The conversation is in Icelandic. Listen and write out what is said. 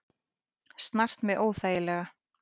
Snart mig óþægilega.